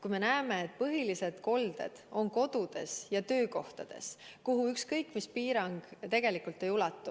Me näeme, et põhilised kolded on kodudes ja töökohtades, kuhu ükskõik mis piirang tegelikult ei ulatu.